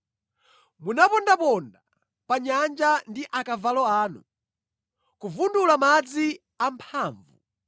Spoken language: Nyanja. Munapondaponda pa nyanja ndi akavalo anu, kuvundula madzi amphamvu.